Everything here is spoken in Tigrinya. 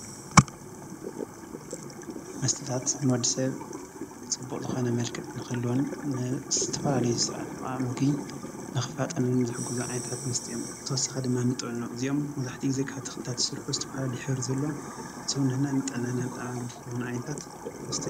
መስተታት ንወዲሰብ ፅቡቕ ዝኾነ መልክዕ ንኽህልዎን ንዝተፈላለዩ ስርዓት ምሕቓቕ ምግቢ ንክፋጠንን ዝሕግዙ ዓይነታት መስተ እዮም። ብተወሳኺ ድማ ዕድመ ጥዕንኡ እዚኦም መብዛሕትኡ ግዜ ካብ ተክልታት ዝስርሑ ዝተፈላለየ ሕብሪ ዘሎ ሰዉነትና ንጥዕና ጠቃሚ ዝኾኑ ዓይነታት መስተ...